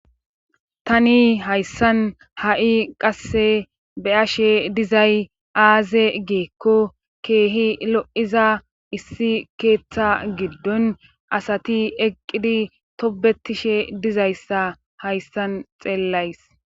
Tani hayssan ha7i qasse be ashe dizay aaze geekko keehi lo7iza issi keeththa giddon asati eqqidi tobetishe dizayssa hayssan xeellays